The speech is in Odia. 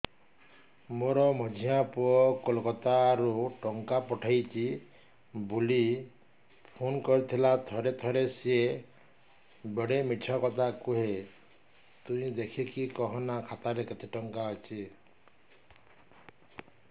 ମୋର ମଝିଆ ପୁଅ କୋଲକତା ରୁ ଟଙ୍କା ପଠେଇଚି ବୁଲି ଫୁନ କରିଥିଲା ଥରେ ଥରେ ସିଏ ବେଡେ ମିଛ କଥା କୁହେ ତୁଇ ଦେଖିକି କହନା ଖାତାରେ କେତ ଟଙ୍କା ଅଛି